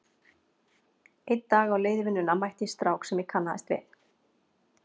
Einn daginn á leið í vinnuna mætti ég strák sem ég kannaðist við.